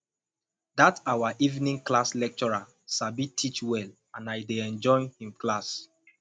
dat our evening class lecturer sabi teach well and i dey enjoy im class